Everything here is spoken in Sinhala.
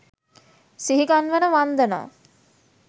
සිහිගන්වන වන්දනා